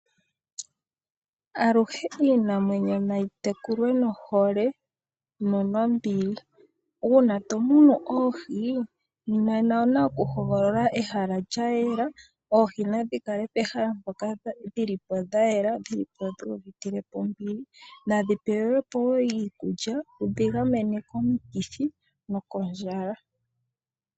Aluhe iinamwenyo nayi tekulwe nohole no nombili. Uuna tomunu oohi nena owuna oku hogolola ehala lyayela, oohi nadhikale pehala mpoka dhili po dhayela, dhilipo dhuuvitile po ombili, nadhi pewelwepo wo iikulya yidhigamene komukithi nokondjala.